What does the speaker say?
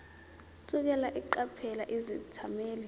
thukela eqaphela izethameli